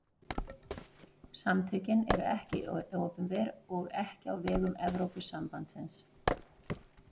Samtökin eru ekki opinber og ekki á vegum Evrópusambandsins.